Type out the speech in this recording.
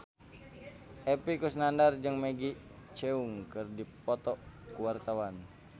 Epy Kusnandar jeung Maggie Cheung keur dipoto ku wartawan